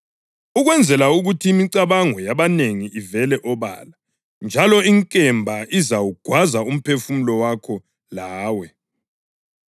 ukwenzela ukuthi imicabango yabanengi ivele obala. Njalo inkemba izawugwaza umphefumulo wakho lawe.”